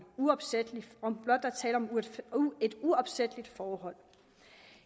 uopsætteligt uopsætteligt forhold